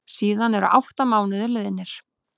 Síðan eru átta mánuðir liðnir.